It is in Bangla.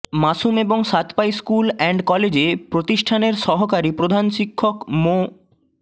মাসুম এবং সাতপাই স্কুল অ্যান্ড কলেজে প্রতিষ্ঠানের সহকারী প্রধান শিক্ষক মো